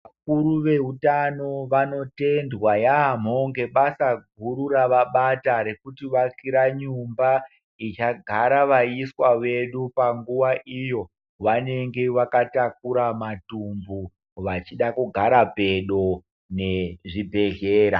Vakuru veutano vanotendwa yaamho ngebasa guru ravabata rekutivakira nyumba ichagara vaiswa vedu panguwa iyo vanenge vakatakura matumbu vachida kugara pedo nezvibhedhlera.